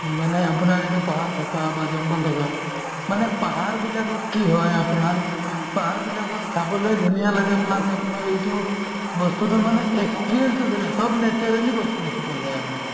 মানে আপোনাৰ এইটো পাহাৰ থকা বা জংগল থকা মানে পাহাৰ বিলাকত কি হয় আপোনাৰ পাহাৰবিলাকত চাবলৈ ধুনীয়া লাগে plus আপোনাৰ এইটো বস্তুতো মানে experience তো চব naturally বস্তু দেখি পোৱা যায় আৰু